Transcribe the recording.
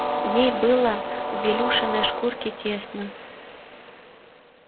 ей было в илюшиной шкурке тесно